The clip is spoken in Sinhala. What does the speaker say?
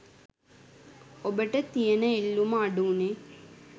ඔබට තියෙන ඉල්ලුම අඩු වුණේ